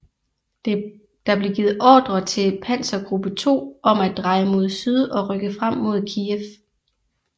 Der blev givet ordre til Panzergruppe 2 om at dreje mod syd og rykke frem mod Kijev